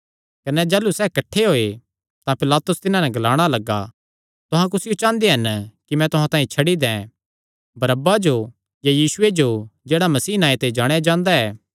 कने जाह़लू सैह़ किठ्ठे होये तां पिलातुस तिन्हां नैं ग्लाणा लग्गा तुहां कुसियो चांह़दे हन कि मैं तुहां तांई छड्डी दैं बरअब्बा जो या यीशुये जो जेह्ड़ा मसीह नांऐ ते जाणेयां जांदा ऐ